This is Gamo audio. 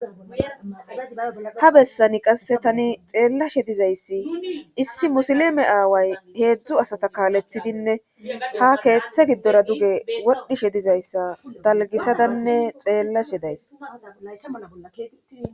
ha bessani qasse tani xeellashe dizayssi issi musileme aaway heedzdzu asata kaalethidinne ha keeththe giddora duge wodhishe dizayssa dalgisadanne xeellashe days